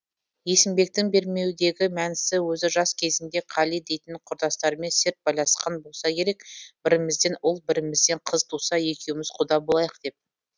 есімбектің бермеудегі мәнісі өзі жас кезінде қали дейтін құрдасымен серт байласқан болса керек бірімізден ұл бірімізден қыз туса екеуміз құда болайық деп